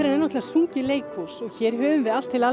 náttúrulega sungið leikhús hér höfum við allt til alls